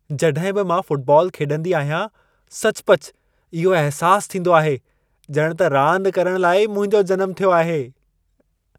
जॾहिं बि मां फुटबॉल खेॾंदी आहियां, सचुपचु इहो अहसासु थींदो आहे, ॼणु त रांदि करण लाइ ई मुंहिंजो जनमु थियो हो।